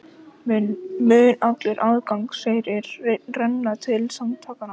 Mun allur aðgangseyrir renna til samtakanna